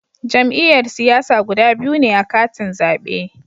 Jam'iyyar siyasa guda biyu ne a katin zabe